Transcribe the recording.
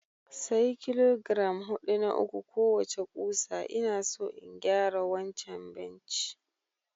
Sayi kilogiram hudu na uku kowace ƙusa ina so in gyara wannan benci